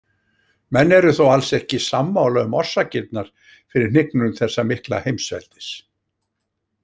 Menn eru þó alls ekki sammála um orsakirnar fyrir hnignun þessa mikla heimsveldis.